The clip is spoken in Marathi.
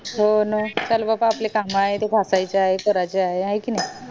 हो ना आपले काम आहे ते घासायचे आहे करायचे आहे हाय कि नाय